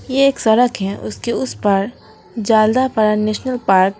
ये एक सड़क है उसके उस पार जल्दापारा नेशनल पार्क --